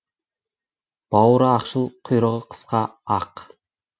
бауыры ақшыл құйрығы қысқа ақ